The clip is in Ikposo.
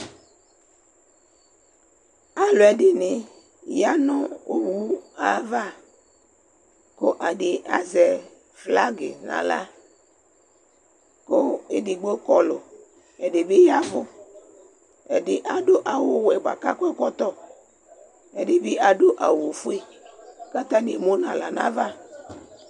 Alʋɛdìní ya nʋ owu ava kʋ ɛdí azɛ flagi nʋ aɣla kʋ ɛdigbo Kɔlu kʋ ɛdí bi yavʋ Ɛdí adu awu wɛ bʋakʋ akɔ ɛkɔtɔ Ɛdí bi adu awu fʋe kʋ atani emu nʋ aɣla nʋ ava